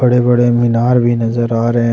बड़े बड़े मीनार भी नजर आ रहे हैं।